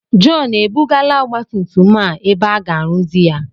Jọn ebugala ọgbatumtum a ebe aga-arụzi ya?